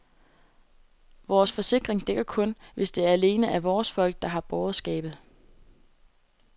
Vores forsikring dækker kun, hvis det alene er vores folk, der havde båret skabet.